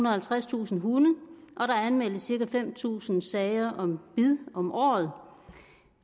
og halvtredstusind hunde og der anmeldes cirka fem tusind sager om bid om året